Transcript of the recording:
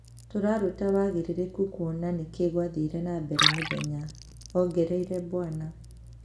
"Tũraruta wagĩrĩrĩku kuona nĩkĩĩ kwathire na mbere mũthenya,"ongereire Bw.